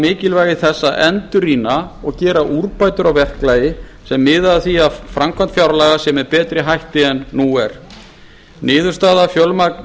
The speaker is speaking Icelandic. þess að endurrýna og gera úrbætur á verklagi sem miðar að því að framkvæmd fjárlaga sé með betri hætti en nú er niðurstaða